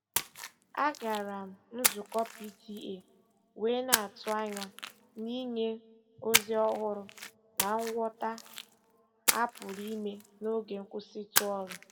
A gara m nzukọ PTA wee na-atụ anya na Inye ozi ọhụrụ na ngwọta a pụrụ ime n'oge nkwụsịtụ ọrụ.